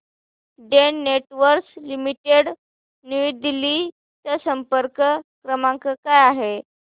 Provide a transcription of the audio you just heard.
Den Networks Limited New Delhi चा संपर्क क्रमांक काय आहे